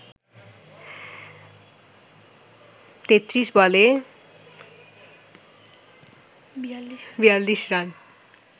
৩৩ বলে ৪২ রান